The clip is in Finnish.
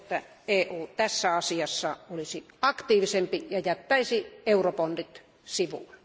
Toivon, että EU tässä asiassa olisi aktiivisempi ja jättäisi eurobondit sivuun.